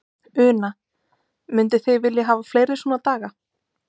Una: Mynduð þið vilja hafa fleiri svona daga?